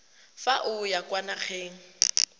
fa o ya kwa nageng